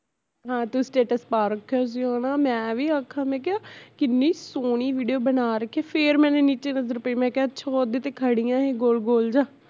ਹਾਂ ਤੂੰ status ਪਾ ਰੱਖਿਆ ਸੀ ਹੈਨਾ ਮੈਂ ਵੀ ਆਖਾਂ ਮੈਂ ਕਿਹਾ ਕਿੰਨੀ ਸੋਹਣੀ video ਬਣਾ ਰੱਖੀ ਐ ਫੇਰ ਮੈਨੇ ਨੀਚੇ ਨਜ਼ਰ ਪਈ ਮੈਂ ਕਿਹਾ ਅੱਛਾ ਏਹ ਓਦੇ ਤੇ ਖੜੀ ਆ ਏਹ ਗੋਲ ਗੋਲ ਜਿਹਾ